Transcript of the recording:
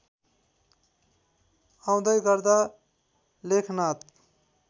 आउँदै गर्दा लेखनाथ